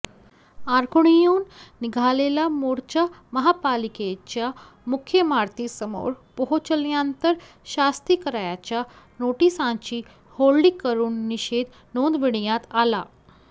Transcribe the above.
आकुर्डीहून निघालेला मोर्चा महापालिकेच्या मुख्य इमारतीसमोर पोहोचल्यानंतर शास्तीकराच्या नोटीसांची होळी करून निषेध नोंदविण्यात आला